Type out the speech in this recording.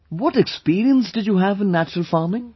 What experience did you have in natural farming